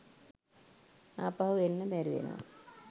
ආපහු එන්න බැරිවෙනව